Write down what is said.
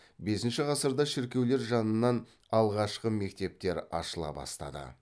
бесінші ғасырда шіркеулер жанынан алғашқы мектептер ашыла бастады